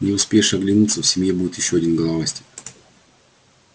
не успеешь оглянуться в семье будет ещё один головастик